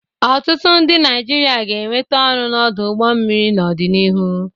Ọtụtụ ndị Naịjirịa ga-enweta ọrụ n'ọdụ ụgbọ mmiri n'ọdịnihu.